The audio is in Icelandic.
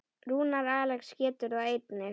Rúnar Alex getur það einnig.